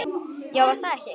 Já, var það ekki!